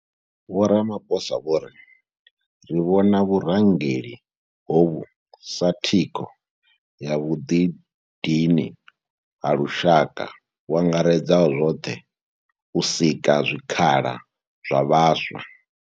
Vho Ramaphosa vho ri ri vhona vhurangeli hovhu sa thikho ya vhuḓidini ha lushaka vhu angaredzaho zwoṱhe u sika zwikhala zwa vhaswa.